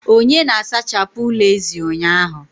Onye na-asachapụ ụlọ ezi ụnyaahụ?.